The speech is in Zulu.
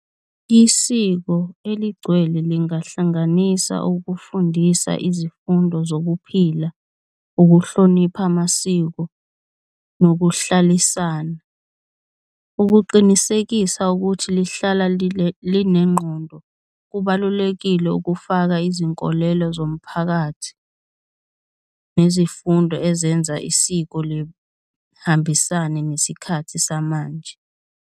Isiko eligcwele lingahlanganisa ukufundisa izifundo zokuphila, ukuhlonipha amasiko, nokuhlalisana ukuqinisekisa ukuthi lihlala linengqondo kubalulekile ukufaka izinkolelo zomphakathi, nezifundo ezenza isiko lihambisane nesikhathi samanje.